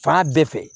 Fan bɛɛ fɛ